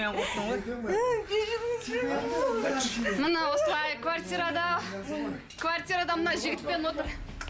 міне осылай квартирада квартирада мына жігітпен отыр